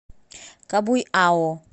кабуйао